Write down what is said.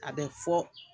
A bɛ fɔ